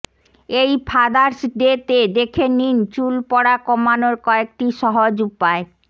এই ফাদার্স ডেতে দেখে নিন চুল পড়া কমানোর কয়েকটি সহজ উপায়